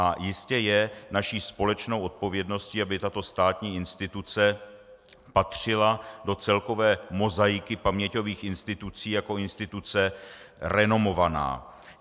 A jistě je naší společnou odpovědností, aby tato státní instituce patřila do celkové mozaiky paměťových institucí jako instituce renomovaná.